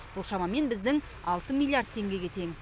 бұл шамамен біздің алты миллиард теңгеге тең